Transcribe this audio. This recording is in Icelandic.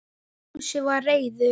Fúsi var reiður.